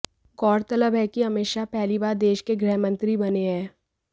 गौरतलब है कि अमित शाह पहली बार देश के गृहमंत्री बने हैं